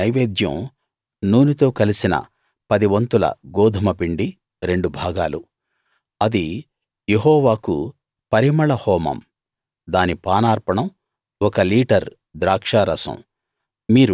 దాని నైవేద్యం నూనెతో కలిసిన పది వంతుల గోదుమపిండి రెండు భాగాలు అది యెహోవాకు పరిమళ హోమం దాని పానార్పణం ఒక లీటర్ ద్రాక్షారసం